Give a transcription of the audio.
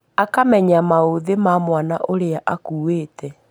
Akamenya maũthi ma mwana ũrĩa akũĩte